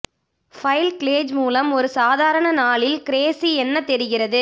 file க்ளேஜ் மூலம் ஒரு சாதாரண நாளில் கிரேசி என்ன தெரிகிறது